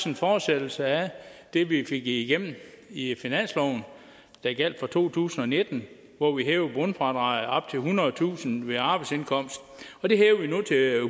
en fortsættelse af det vi fik igennem i finansloven der gjaldt for to tusind og nitten hvor vi hævede bundfradraget op til ethundredetusind kroner ved arbejdsindkomst